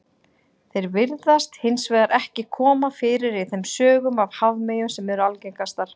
Þeir virðast hins vegar ekki koma fyrir í þeim sögum af hafmeyjum sem eru algengastar.